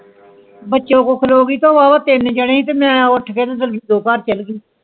ਉਥੇ ਖਲੋ ਗਯੀ ਤੇ ਵਾ ਵਾ ਟੀਨ ਜਾਣੇ ਸੀ ਤੇ ਮਈ ਉੱਠ ਕੇ ਵਿੱਚੋ ਘਰ ਚਾਲ ਗਯੀ